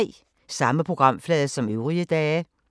Samme programflade som øvrige dage